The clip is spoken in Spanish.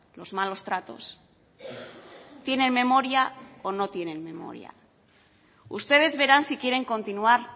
los malos tratos tienen memoria o no tienen memoria ustedes verán si quieren continuar